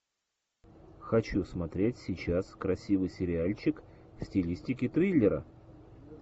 хочу смотреть сейчас красивый сериальчик в стилистике триллера